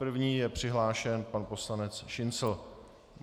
První je přihlášen pan poslanec Šincl.